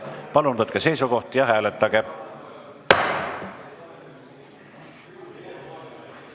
Palun võtke seisukoht ja hääletage!